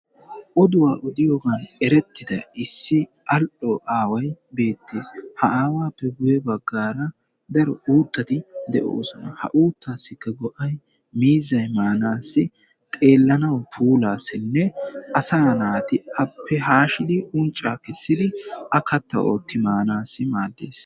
Oduwaa gatiyaabagappe daroba cucccumidi oyqqana danddayeetees. daro zoriya nuussi immees.